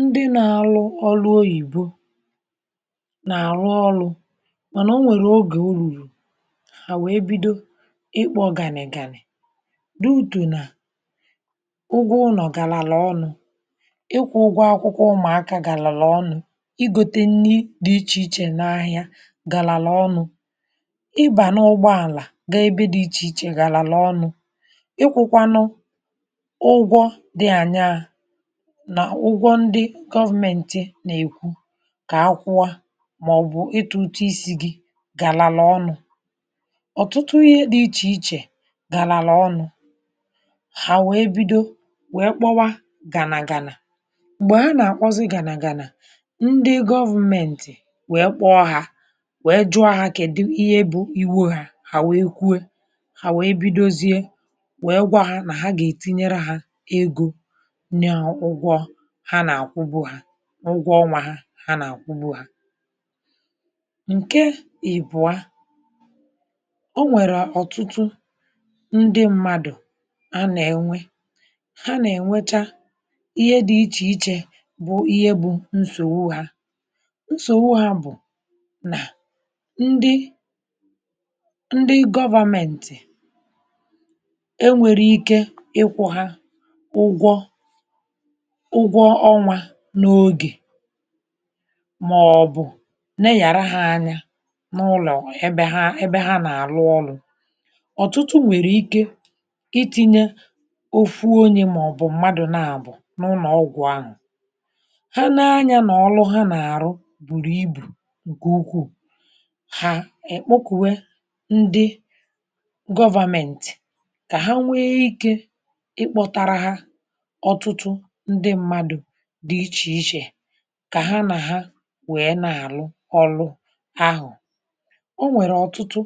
ndị na-alụ ọrụ oyìbo nà-àrụ ọlụ̇ mànà o nwèrè ogè o rùrù à wèe bido ịkpọ̇ ganì ganì dị ùtù nà ụgwọ ụnọ̀ gàlàlà ọnụ̇ ịkwụ̇ ụgwọ akwụkwọ ụmụ̀akȧ gàlàlà ọnụ̇ ịgȯte nni dị ichè ichè n’ahịa gàlàlà ọnụ̇ ịbà n’ụgbọ àlà gà ebe dị̇ ichè ichè gàlàlà ọnụ̇ ịkwụ̇kwànụ ụgwọ ndị dị añaa na ụgwọ ndị gọvmenti nà-èkwu kà akwụwa màọ̀bụ̀ ịtụ ụtụ isi̇ gị gàlàlà ọnụ̇ ọ̀tụtụ ihe dị̇ ichè ichè gàlàlà ọnụ̇ hà wèe bido wèe kpọwa gànàgà nà m̀gbè ha nà-àkpọzị gànàgà ndị gọvmentì wèe kpọọ hȧ wèe jụọ hȧ kèdụ ihe bụ̇ iwe hȧ hà wèe kwuo hà wèe bidozie wèe gwà hȧ nà ha gà-ètinyere hȧ egȯ nya ụgwọ ha na-akwubu ha ụgwọ ọnwȧ ha ha nà-àkwụbụ̀ ha ǹke ịbụ̀a o nwèrè ọ̀tụtụ ndị mmadụ̀ a nà-ènwe ha nà-ènwecha ihe dị̇ ichè ichè bụ̀ ihe bụ̇ nsògbu ha nsògbu ha bụ̀ nà ndị ndị government e nwèrè ike ịkwụ̇ ha ụgwọ ụgwọ ọnwa ha n’ogè maọ̀bụ̀ neghàra ha anya n’ụlọ̀ ebe ha ebe ha nà-àlụ ọrụ̇ ọ̀tụtụ nwèrè ike iti̇nye ofu onye màọ̀bụ̀ m̀madụ̇ naàbụ̀ n’ụnọ̀ọgwụ̇ ahụ̀ ha na-anya nà ọlụ ha nà-àrụ bùrù ibù nke ukwùu hà, ekpọkụ̀we ndị government kà ha nwee ike ị kpọtara ha ọtụtụ ndị mmadụ̇ dị ichè ichè ka ha na ha wee na-alụ ọlụ ahụ ọ nwere ọtụtụ